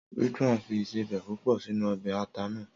Ridwan fi ìsebẹ̀ púpọ̀ sínú ọbẹ̀ ata náà.